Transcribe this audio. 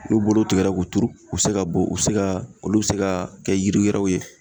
N'u bolow tigɛra k'u turu u be se ka bo u be se ka olu be se kaa kɛ yiri wɛrɛw ye